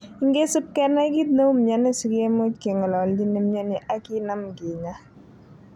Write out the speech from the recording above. Ingesip kenai kit neu mioni si kimuch kengololji nemioni ak kinam kinya,.